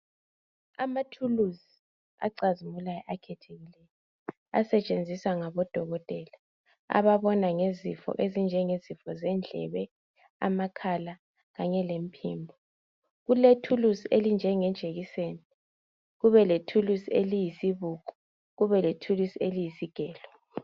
Amathuluzi acazimulayo akhethekileyo asetshenziswa ngabodokotela ababona ngezifo ezinjengezifo zendlebe amakhala kanye lemphimbo kulethulusi elinjenge jekiseni kubelethulusi eliyisibuko kubelethulusi eliyisigelo